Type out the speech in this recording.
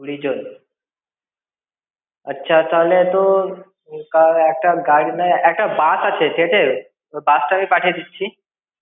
কুড়ি জন, আচ্ছা তাহলে তো, তা একটা গাড়ি নয় একটা bus আছে state এর। Bus টা আমি পাঠিয়ে দিচ্ছি।